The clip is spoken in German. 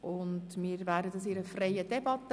Wir behandeln sie in einer freien Debatte.